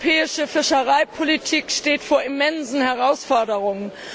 Die europäische Fischereipolitik steht vor immensen Herausforderungen.